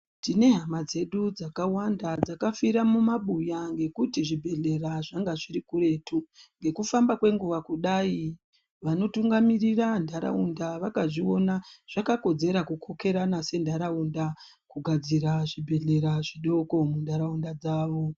Tine hama dzedu dzakawanda dzakafura mumabuya ngekuti zvibhedhlera zvedu zviri kuretu nekufamba kwenguwa kudai vakazviona vakazviona zvakakodzera kukona senharaunda kugadzira zvibhedhlera zvidoko munharaunda dzawo.